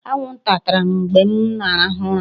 Anwụnta tara m mgbe m na-ehi ụra